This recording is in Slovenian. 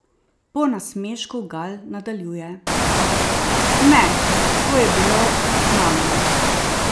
Po nasmešku Gal nadaljuje: "Ne, to je bilo znamenje.